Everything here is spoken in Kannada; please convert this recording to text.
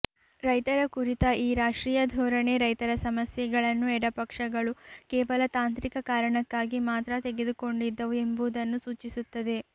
ರೈತರ ಕುರಿತ ಈ ರಾಷ್ಟ್ರೀಯ ಧೋರಣೆ ರೈತರ ಸಮಸ್ಯೆಗಳನ್ನು ಎಡಪಕ್ಷಗಳು ಕೇವಲ ತಾಂತ್ರಿಕ ಕಾರಣಕ್ಕಾಗಿ ಮಾತ್ರ ತೆಗೆದುಕೊಂಡಿದ್ದವು ಎಂಬುದನ್ನು ಸೂಚಿಸುತ್ತದೆ